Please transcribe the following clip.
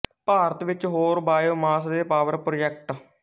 ਭਾਰਤ ਵਿੱਚ ਹੋਰ biomass ਦੇ ਪਾਵਰ ਪ੍ਰੋਜੈਕਟ